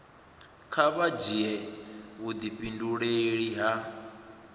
kha vha dzhia vhudifhinduleli ha